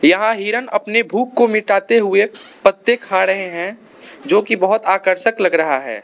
यहां हिरण अपनी भूख को मिटाते हुए पत्ते खा रहे हैं जो की बहोत आकर्षक लग रहा है।